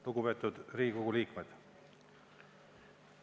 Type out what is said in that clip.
Lugupeetud Riigikogu liikmed!